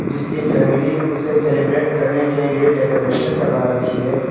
इसकी फैमिली उसे सेलिब्रेट करने के लिए डेकोरेशन करवा रखी है।